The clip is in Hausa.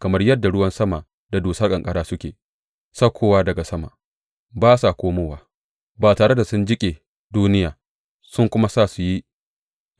Kamar yadda ruwan sama da dusar ƙanƙara suke saukowa daga sama, ba sa komowa ba tare da sun jiƙe duniya sun kuma sa su yi